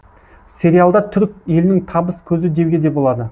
сериалдар түрік елінің табыс көзі деуге де болады